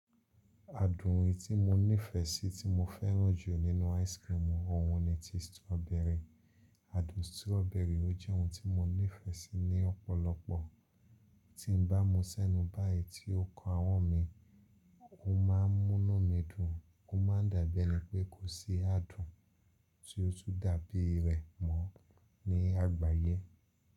Adùn oyin tí mo nífẹsí tí mo fẹ́ràn jù nínú áìsikirimù ọ̀hún ni ti stoberi. Adùn stroberi ó jẹ́ ohun tí mo nífẹ́sí ní ọ̀pọ̀lọpọ̀. Tí n bá mú ṣẹ́nu báyì tí ó kan ahọ́n mi, ó ma ń múnú mi dùn, ó ma ń dàbí ẹni pé kò sí adùn tí ó tún dàbí rẹ̀ mọ́ ní àgbáyé.